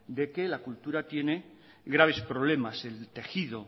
de que la cultura tiene graves problemas el tejido